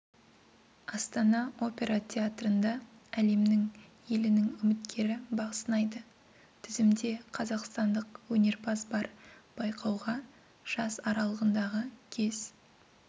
астана опера театрында әлемнің елінің үміткері бақ сынайды тізімде қазақстандық өнерпаз бар байқауға жас аралығындағы кез